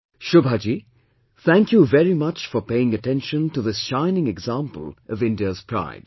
Shobha Ji, thank you very much for paying attention to this shining example of India's pride